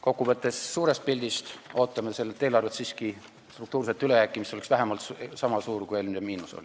Kokkuvõttes ootame suures pildis sellelt eelarvelt siiski struktuurset ülejääki, mis oleks vähemalt sama suur, kui oli eelmise miinus.